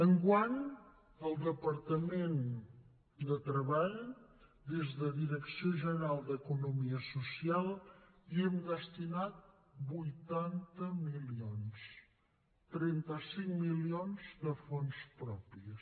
enguany el departament de treball des de la direcció general d’economia social hi hem destinat vuitanta milions trenta cinc milions de fons propis